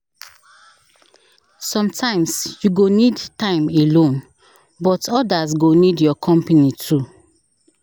Sometimes, you go need time alone, but others go need your company too.